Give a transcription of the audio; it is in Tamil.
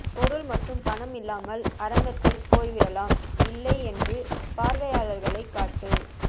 பொருள் மற்றும் பணம் இல்லாமல் அரங்கத்தில் போய்விடலாம் இல்லை என்று பார்வையாளர்களைக் காட்டு